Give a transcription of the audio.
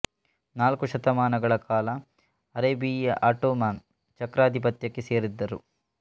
ನಾಲ್ಕು ಶತಮಾನಗಳ ಕಾಲ ಅರೇಬಿಯ ಆಟೊಮನ್ ಚಕ್ರಾದಿಪತ್ಯ ಕ್ಕೆ ಸೇರಿದ್ದರೂ